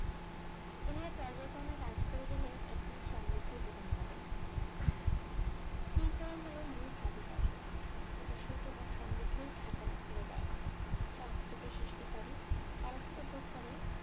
এভাবে পর্যায়ক্রমে কাজ করে গেলে একটি সমৃদ্ধ জীবন পাবেন, শৃঙ্খলাই হল মূল চাবিকাঠি, এটি সুখ এবং সমৃদ্ধির ঢাকনা খুলে দেয়, সংস্কৃতি সৃষ্টি করে, অলসতা দূর করে